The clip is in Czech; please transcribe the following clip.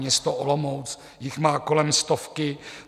Město Olomouc již má kolem stovky.